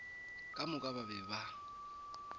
ka moka ba be ba